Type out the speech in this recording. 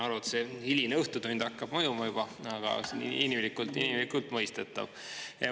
Saan aru, et see hiline õhtutund hakkab mõjuma juba, aga see on inimlikult inimlikult mõistetav.